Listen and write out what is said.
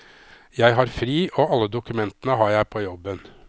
Jeg har fri, og alle dokumentene har jeg på jobben.